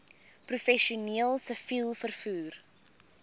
professioneel siviel vervoer